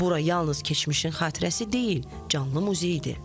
Bura yalnız keçmişin xatirəsi deyil, canlı muzeydir.